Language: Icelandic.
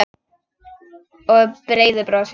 Og breiðu brosi.